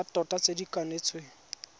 tsa tota tse di kanetsweng